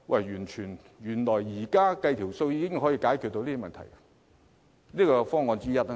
原來現在計算一下已能解決問題，這是方案之一。